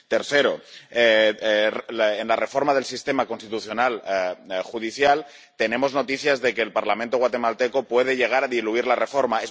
Tercero en la reforma del sistema constitucional judicial, tenemos noticias de que el Parlamento guatemalteco puede llegar a diluir la reforma.